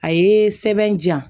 A ye sɛbɛn diyan